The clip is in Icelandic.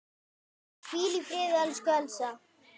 Hvíl í friði, elsku Elsa.